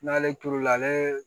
N'ale turula ale